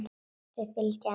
Þau fylgja henni eftir.